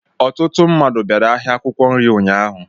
Ọtụtụ mmadụ bịara ahịa akwụkwọ nri ụnyaahụ